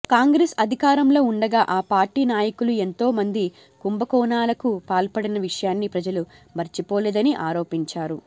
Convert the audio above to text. కాంగ్రెస్ అధికారంలో ఉండగా ఆ పార్టీ నాయకులు ఎంతో మంది కుంభకోణాలకు పాల్పడిన విషయాన్ని ప్రజలు మరిచిపోలేదని ఆరోపించారు